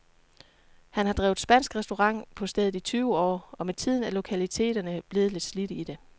Han har drevet spansk restaurant på stedet i tyve år, og med tiden er lokaliteterne blevet lidt slidte i det.